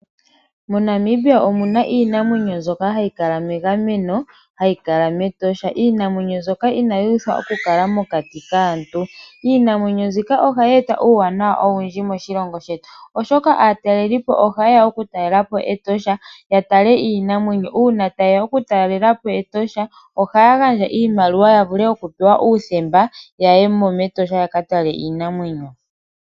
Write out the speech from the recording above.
MoNamibia omuna iinamwenyo mbyoka hayi kala megameno hayi kala mEtosha. Iinamwenyo mbyoka inayi uthwa oku kala mokati kaantu. Iinamwenyo nzika oha yeta uuwanawa owundji moshilongo shetu oshoka aatalelipo oha yeya oku taalelapo Etosha ya tale iinamwenyo. Una ta yeya oku talelapo Etosha oha gandja iimaliwa yavule oku pewa uuthemba ya yemo mEtosha yaka tale iinamwenyo.